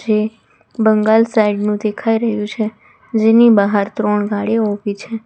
જે bungalow side નું દેખાય રહ્યું છે જેની બહાર ત્રણ ગાડીઓ ઉભી છે.